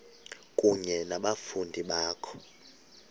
kunye nabafundi bakho